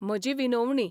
म्हजी विनोवणी.